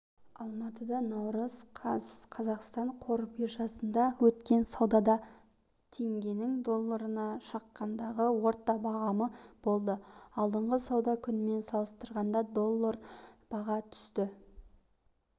алматы наурыз қаз қазақстан қор биржасында өткен саудада теңгенің долларына шаққандағы орташа бағамы болды алдыңғы сауда күнімен салыстырғанда доллар бағасы түсті